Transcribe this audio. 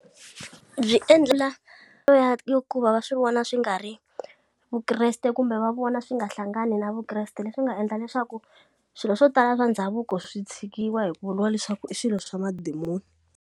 Byi endla ya hikuva va swi vona swi nga ri vukreste kumbe va vona swi nga hlangani na vukreste leswi nga endla leswaku swilo swo tala swa ndhavuko swi tshikiwa hi ku vuriwa leswaku i swilo swa madimoni.